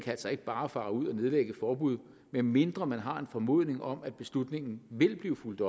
altså ikke bare fare ud og nedlægge et forbud medmindre den har en formodning om at beslutningen vil blive fulgt